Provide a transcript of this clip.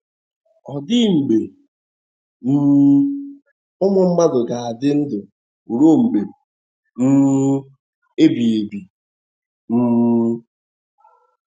Ọ̀ dị mgbe um ụmụ mmadụ ga - adị ndụ ruo mgbe um ebighị ebi um?